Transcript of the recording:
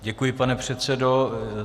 Děkuji, pane předsedo.